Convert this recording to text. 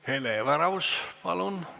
Hele Everaus, palun!